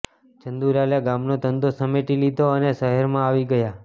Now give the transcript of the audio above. ચંદુલાલે ગામનો ધંધો સમેટી લીધો અને શહેરમાં આવી ગયા